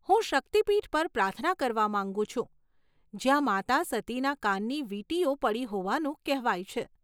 હું શક્તિ પીઠ પર પ્રાર્થના કરવા માંગુ છું જ્યાં માતા સતીના કાનની વીંટીઓ પડી હોવાનું કહેવાય છે.